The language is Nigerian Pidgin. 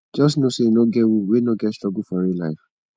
jus no sey e no get who wey no get struggle for real life